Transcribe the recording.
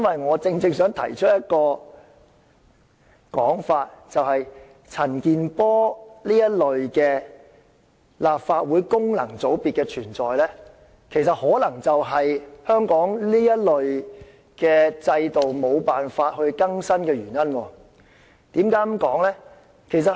我正正想提出一種說法，就是陳健波議員這類立法會功能界別議員的存在，其實可能就是香港這方面制度無法更新的原因，為何我會這樣說呢？